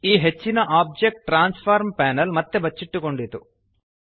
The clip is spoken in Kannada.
ಈ ಹೆಚ್ಚಿನ ಒಬ್ಜೆಕ್ಟ್ ಟ್ರಾನ್ಸ್ಫಾರ್ಮ್ ಪ್ಯಾನೆಲ್ ಮತ್ತೆ ಬಚ್ಚಿಟ್ಟುಕೊಂಡಿತು